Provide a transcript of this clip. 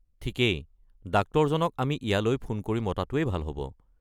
ঠিকেই, ডাক্তৰজনক আমি ইয়ালৈ ফোন কৰি মতাটোৱেই ভাল হ'ব।